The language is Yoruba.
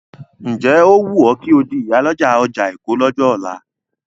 Ǹ jẹ́ ó wùn ọ́ kò di ìyálọ́jà ọjà Èkó lọ́jọ́ ọ̀la?